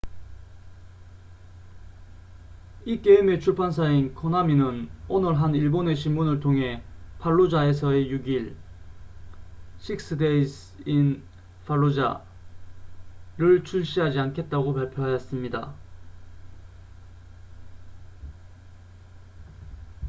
이 게임의 출판사인 코나미는 오늘 한 일본의 신문을 통해 팔루자에서의 6일six days in fallujah를 출시하지 않겠다고 발표하였습니다